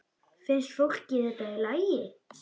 Finnst fólki þetta í lagi?